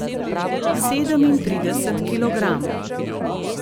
Sedemintrideset kilogramov.